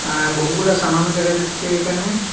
আ বহুগুলা সামানও দেখা যাচ্ছে এখানে।